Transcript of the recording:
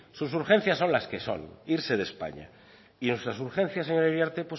sus urgencias son las que son irse de españa y nuestras urgencias señora iriarte